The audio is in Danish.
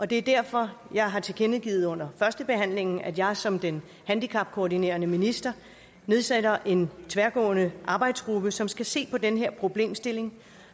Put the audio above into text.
det er derfor jeg har tilkendegivet under førstebehandlingen at jeg som den handicapkoordinerende minister nedsætter en tværgående arbejdsgruppe som skal se på den her problemstilling